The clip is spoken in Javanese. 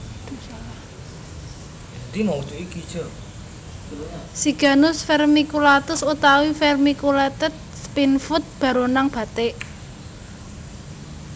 Siganus Vermiculatus utawi vermiculated Spinefoot baronang batik